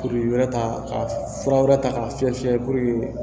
Kuru wɛrɛ ta ka fura wɛrɛ ta k'a fiyɛ fiyɛ purke